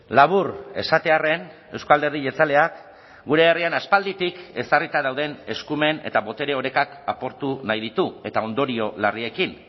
labur esatearren euzko alderdi jeltzaleak gure herrian aspalditik ezarrita dauden eskumen eta botere orekak apurtu nahi ditu eta ondorio larriekin